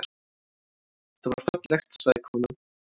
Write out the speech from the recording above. Það var fallegt, sagði konan.